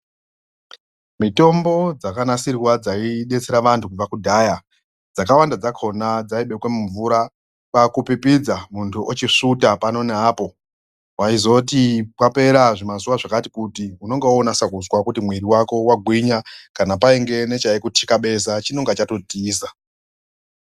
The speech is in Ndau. Mitombo dzakanasirwa dzaibetsera vantu kubva kudhaya. Dzakawanda dzakona dzaibekwa mumvura kwakupipidza kwakusvuta pano neapo. Vaizoti kwapera zvimazuva zvakati kuti unonga vonasa kuzwa kuti mwiri vako vagwinya. Kana painge nechaikutikabeza chinonga chatotiza.